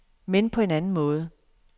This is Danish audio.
Men på en anden måde.